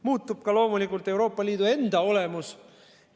Muutub ka loomulikult Euroopa Liidu enda olemus.